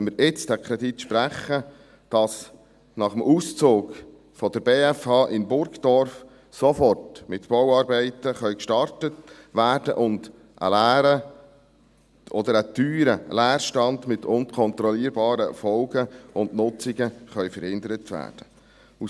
Wir können so, wenn wir jetzt diesen Kredit sprechen, auch sicherstellen, dass, nach dem Auszug der BFH in Burgdorf sofort mit Bauarbeiten gestartet werden kann und ein ein teurer Leerstand mit unkontrollierbaren Folgen und Nutzungen verhindert werden können.